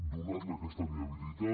donar li aquesta viabilitat